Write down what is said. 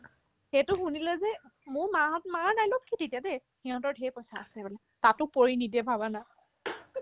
সেইতো শুনিলে যে মোৰ মা হত মাৰ dialog কি তেতিয়া দেই সিহতৰ ধেৰ পইচা আছে বোলে তাতো পৰি নিদিয়ে ভাবা না